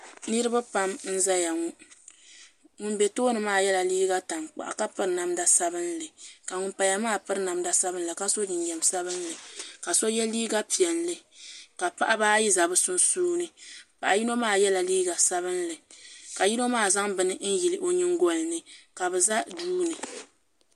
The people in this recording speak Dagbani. Niraba pam n ʒɛya ŋo ŋun bɛ tooni maa yɛla liiga tankpaɣu ka piri namda sabinli ka ŋun paya maa piri namda sabinli ka so jinjɛm sabinli ka so yɛ liiga piɛlli ka paɣaba ayi ʒɛ bi sunsuuni paɣa yino maa yɛla liiga sabinli ka yino maa zaŋ bini n yili o nyingolini ka bi ʒɛ duuni